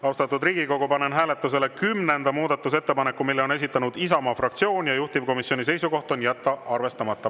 Austatud Riigikogu, panen hääletusele kümnenda muudatusettepaneku, mille on esitanud Isamaa fraktsioon, juhtivkomisjoni seisukoht: jätta arvestamata.